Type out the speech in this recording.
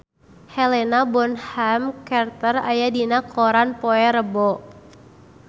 Helena Bonham Carter aya dina koran poe Rebo